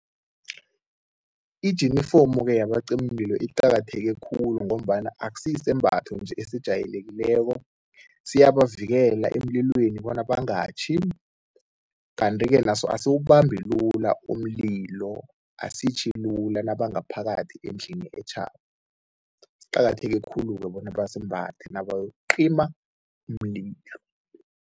Ijinifomu-ke yabacimimlilo iqakatheke khulu ngombana akusiyisembatho nje esijayelekileko, siyabavikela emlilweni bona bangatjhi. Kanti-ke naso asiwubambi lula umlilo, asitjhi lula nabangaphakathi endlini etjhako. Iqakatheke khulu-ke bona basimbathe nabayokucima umlilo.